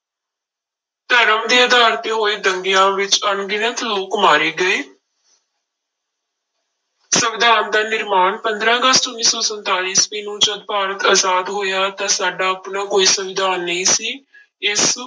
ਧਰਮ ਦੇ ਆਧਾਰ ਤੇ ਹੋਏ ਦੰਗਿਆਂ ਵਿੱਚ ਅਣਗਿਣਤ ਲੋਕ ਮਾਰੇ ਗਏ ਸੰਵਿਧਾਨ ਦਾ ਨਿਰਮਾਣ, ਪੰਦਰਾਂ ਅਗਸਤ ਉੱਨੀ ਸੌ ਸੰਤਾਲੀ ਈਸਵੀ ਨੂੰ ਜਦ ਭਾਰਤ ਆਜ਼ਾਦ ਹੋਇਆ ਤਾਂ ਸਾਡਾ ਆਪਣਾ ਕੋਈ ਸੰਵਿਧਾਨ ਨਹੀਂ ਸੀ ਇਸ